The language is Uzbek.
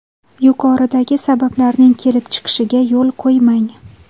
Yuqoridagi sabablarning kelib chiqishiga yo‘l qo‘ymang.